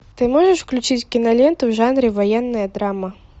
ты можешь включить киноленту в жанре военная драма